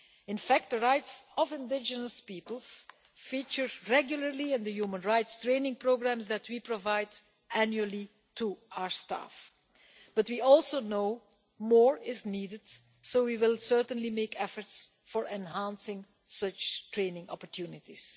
In fact, the rights of indigenous peoples is a subject that features regularly in the human rights training programmes we provide annually to our staff but we also know more is needed, so we will certainly make efforts to enhance such training opportunities.